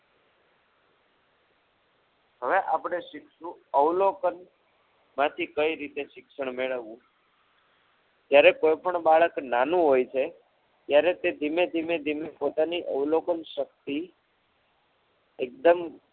હવે આપણે શીખશું અવલોકનમાંથી કઈ રીતે શિક્ષણ મેળવવું જ્યારે કોઈ પણ બાળક નાનું હોય છે ત્યારે તે ધીમે ધીમે પોતાની અવલોકન શક્તિ એકદમ